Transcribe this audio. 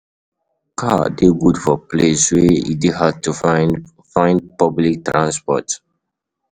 Car de good for places wey e de hard to find find public transport